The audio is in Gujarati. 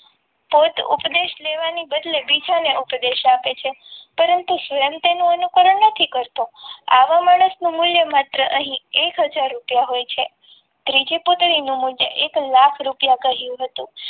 પોતે ઉપદેશ લેવાની બદલે બીજાને ઉપદેશ આપે છે પરંતુ તેનું અનુકરણ નથી કરતો આવા માણસનું મૂલ્ય અહીં માત્ર એક હાજર રૂપિયા હોય છે ત્રીજી પુત્રીનું મૂલ્ય એક લાખ રૂપિયા કહ્યું હતું.